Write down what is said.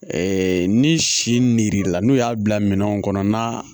ni sirila n'u y'a bila minɛnw kɔnɔ n'a